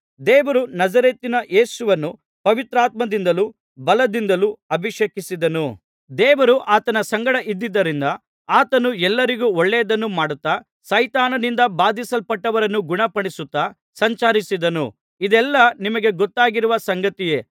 ದೇವರು ನಜರೇತಿನ ಯೇಸುವನ್ನು ಪವಿತ್ರಾತ್ಮದಿಂದಲೂ ಬಲದಿಂದಲೂ ಅಭಿಷೇಕಿಸಿದನು ದೇವರು ಆತನ ಸಂಗಡ ಇದ್ದುದರಿಂದ ಆತನು ಎಲ್ಲರಿಗೂ ಒಳ್ಳೆಯದನ್ನು ಮಾಡುತ್ತಾ ಸೈತಾನನಿಂದ ಬಾಧಿಸಲ್ಪಟ್ಟವರನ್ನು ಗುಣಪಡಿಸುತ್ತಾ ಸಂಚರಿಸಿದನು ಇದೆಲ್ಲಾ ನಿಮಗೆ ಗೊತ್ತಾಗಿರುವ ಸಂಗತಿಯೇ